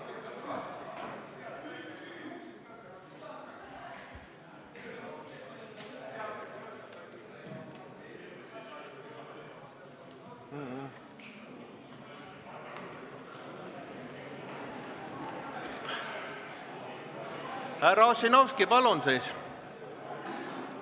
Härra Ossinovski, palun siis!